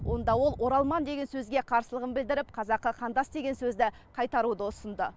онда ол оралман деген сөзге қарсылығын білдіріп қазақы қандас деген сөзді қайтаруды ұсынды